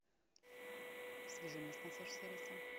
свяжи меня с консьерж сервисом